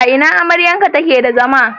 A ina amryarka take da zama?